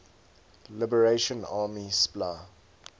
liberation army spla